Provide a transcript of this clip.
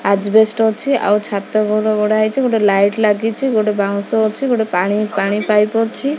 Asbestos ଅଛି ଆଉ ଛାତ ଘର ଗଢା ହେଇଛି ଗୋଟେ ଲାଇଟ୍ ଲାଗିଛି ଗୋଟେ ବାଉଁଶ ଅଛି ଗୋଟେ ପାଣି ପାଣି ପାଇପ୍ ଅଛି।